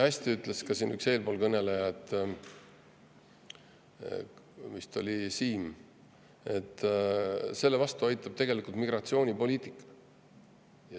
Hästi ütles üks eespool kõneleja, see vist oli Siim, et selle vastu aitab tegelikult migratsioonipoliitika.